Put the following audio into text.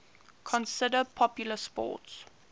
considered popular sports